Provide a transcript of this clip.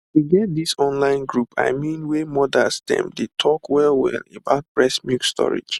e get this online group i mean wey mothers dem dey talk wellwell about breast milk storage